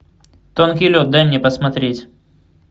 тонкий лед дай мне посмотреть